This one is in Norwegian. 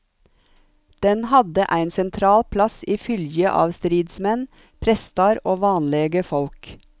Den hadde ein sentral plass i fylgje av stridsmenn, prestar og vanlege folk.